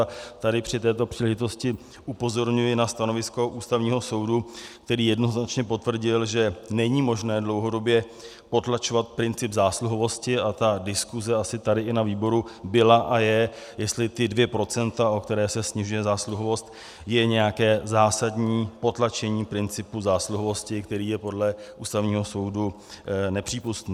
A tady při této příležitosti upozorňuji na stanovisko Ústavního soudu, který jednoznačně potvrdil, že není možné dlouhodobě potlačovat princip zásluhovosti, a ta diskuse asi tady i na výboru byla a je, jestli ta dvě procenta, o která se snižuje zásluhovost, jsou nějaké zásadní potlačení principu zásluhovosti, který je podle Ústavního soudu nepřípustný.